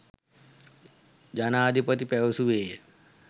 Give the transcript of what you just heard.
ජනාධිපති පැවසුවේය.